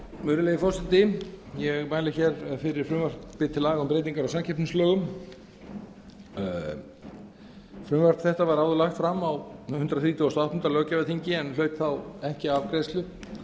virðulegi forseti ég mæli fyrir frumvarpi til laga um breytingu á samkeppnislögum frumvarp þetta var áður lagt fram á hundrað þrítugasta og áttunda löggjafarþingi en hlaut þá ekki afgreiðslu